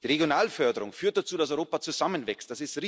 Die Regionalförderung führt dazu, dass Europa zusammenwächst.